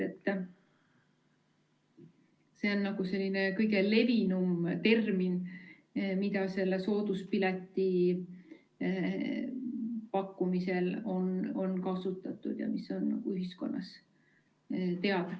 See on kõige levinum termin, mida selle sooduspileti pakkumisel on kasutatud ja mis on ühiskonnas teada.